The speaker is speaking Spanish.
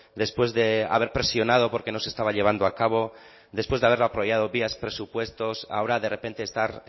después de haber presionado porque no se estaba llevando a cabo después de haberlo apoyado vía presupuestos ahora de repente estar